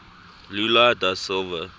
lula da silva